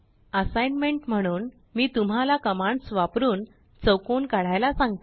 assignment म्हणून मी तुम्हाला कमांड्स वापरूनचौकोन काढायला सांगते